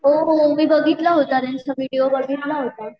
हो हो मी बघितला होता चा विडिओ बघितला होता.